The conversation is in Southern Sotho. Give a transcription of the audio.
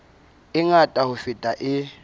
e ngata ho feta e